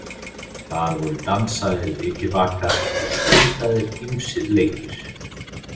Þar voru dansaðir vikivakar og stundaðir ýmsir leikir.